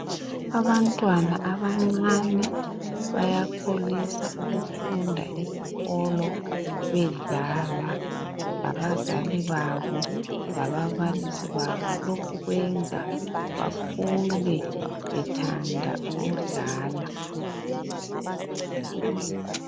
Abantwana abancane bayakholisa ukufunda esikolo bedlala labazali babo lababalisi babo. Lokhu kwenza bakhule bethanda ukudlala.